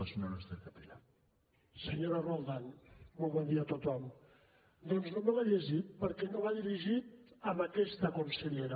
senyora roldán molt bon dia a tothom doncs no me l’he llegit perquè no va dirigit a aquesta consellera